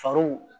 Farwu